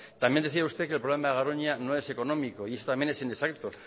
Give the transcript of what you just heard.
también decía usted que el problema de garoña no es económico y eso también es inexacto